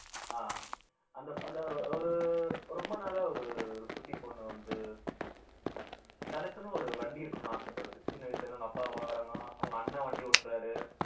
அஹ் அந்த அந்த ஒரு ரொம்ப நாளா ஒரு ஒரு குட்டிப் பொண்ணு வந்து உம் தனக்குன்னு ஒரு வண்டி இருக்கணும்னு ஆசைப்படுது சின்ன வயசுல இருந்து அவங்க அப்பா பாக்கறாங்க அவங்க அண்ணா வண்டி ஓட்டுறாரு